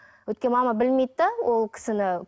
өйткені мама білмейді де ол кісіні